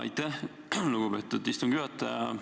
Aitäh, lugupeetud istungi juhataja!